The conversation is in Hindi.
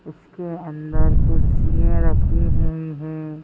उसके अंदर कुर्सियां रखी हुई है।